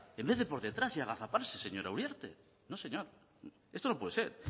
en vez de por detrás y agazaparse señora uriarte no señor esto no puede ser